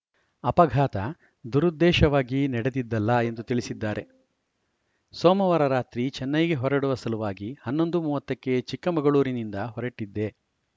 ಅಪಘಾತ ದುರುದ್ದೇಶವಾಗಿ ನಡೆದಿದ್ದಲ್ಲ ಎಂದು ತಿಳಿಸಿದ್ದಾರೆ ಸೋಮವಾರ ರಾತ್ರಿ ಚೆನ್ನೈಗೆ ಹೊರಡುವ ಸಲುವಾಗಿ ಹನ್ನೊಂದು ಮೂವತ್ತ ಕ್ಕೆ ಚಿಕ್ಕಮಗಳೂರಿನಿಂದ ಹೊರಟಿದ್ದೆ